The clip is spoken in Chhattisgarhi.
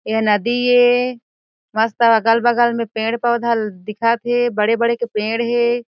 एहा नदी ए मस्त अगल-बगल में पेड़-पौधा दिखत हे बड़े-बड़े के पेड़ हे।